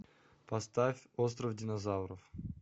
поставь остров динозавров